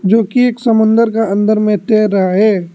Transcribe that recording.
जो की एक समुद्र का अंदर में तैर रहा है।